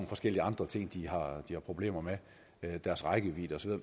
forskellige andre ting de har har problemer med deres rækkevidde og så